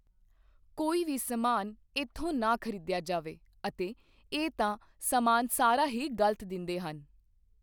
ਕੋਈ ਵੀ ਸਮਾਨ ਇੱਥੋਂ ਨਾ ਖਰੀਦਿਆ ਜਾਵੇ ਅਤੇ ਇਹ ਤਾਂ ਸਮਾਨ ਸਾਰਾ ਹੀ ਗਲਤ ਦਿੰਦੇ ਹਨ।